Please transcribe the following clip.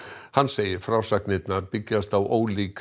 hann segir frásagnirnar byggjast á ólíkri